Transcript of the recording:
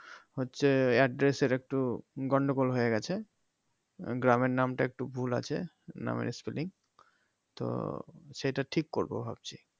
হচ্ছে address এর একটু গন্ডগোল হয়ে গেছে গ্রামের নামটা একটু ভুল আছে গ্রামের spelling তো সেটা ঠিক করব ভাবছি